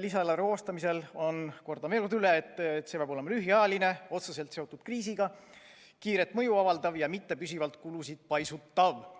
lisaeelarve koostamisel on, kordan veel kord üle, et see peab olema lühiajaline, otseselt seotud kriisiga, kiiret mõju avaldav ja mitte püsivalt kulusid paisutav.